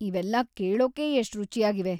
ಇವೆಲ್ಲಾ ಕೇಳೋಕೇ ಎಷ್ಟ್‌ ರುಚಿಯಾಗಿವೆ.